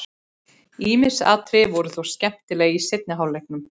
Ýmis atriði voru þó skemmtileg í seinni hálfleiknum.